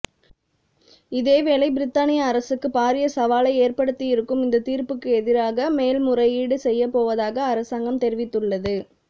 இதேவேளை பிரித்தானிய அரசுக்கு பாரிய சவாலை ஏற்படுத்தியிருக்கும் இந்த தீர்ப்புக்கு எதிராக மேன்முறையீடு செய்யப்போவதாக அரசாங்கம் தெரிவித்துள்ளது